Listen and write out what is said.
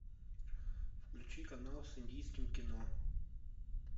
включи канал с индийским кино